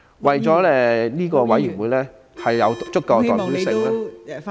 為令應變委員會有足夠的代表性......